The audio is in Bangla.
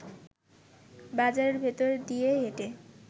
বাজারের ভেতর দিয়ে হেঁটে